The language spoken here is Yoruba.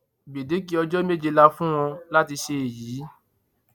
gbẹdẹkẹ ọjọ méje la fún wọn láti ṣe èyí